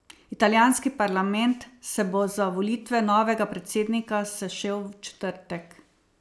Italijanski parlament se bo za volitve novega predsednika sešel v četrtek.